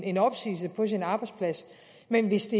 en opsigelse på sin arbejdsplads men hvis